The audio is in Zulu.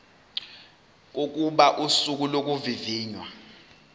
kokuba usuku lokuvivinywa